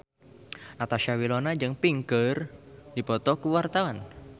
Natasha Wilona jeung Pink keur dipoto ku wartawan